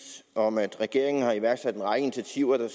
om at regeringen har iværksat en række initiativer der